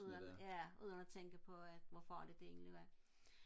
ja uden at tænke på hvor farligt det egentlig er